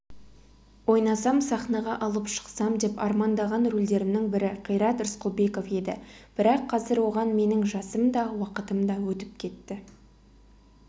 ойнасам сахнаға алып шықсам деп армандаған рөлдерімнің бірі қайрат рысқұлбеков еді бірақ қазір оған менің жасым да уақытым да өтіп кетті